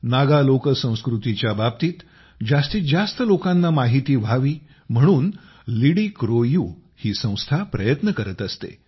नागा लोकसंस्कृतीच्या बाबतीत जास्तीत जास्त लोकांना माहिती व्हावी म्हणून लिडिक्रोयू ही संस्था प्रयत्न करत असते